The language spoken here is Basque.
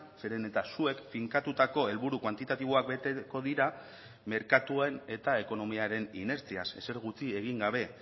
zeren eta zuek finkatutako helburu kuantitatiboak beteko dira merkatuen eta ekonomiaren inertziaz ezer gutxi egin gabe